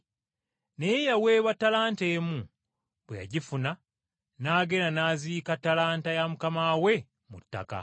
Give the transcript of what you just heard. Naye eyaweebwa ttalanta emu, bwe yagifuna n’agenda n’aziika ttalanta ya mukama we mu ttaka.